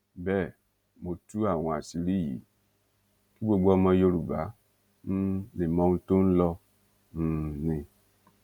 bẹẹ mo tú àwọn àṣírí yìí kí gbogbo ọmọ yorùbá um lè mọ ohun tó ń lọ um ni